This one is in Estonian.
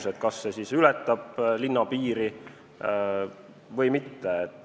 Näiteks, kas see ületab linna piiri või mitte.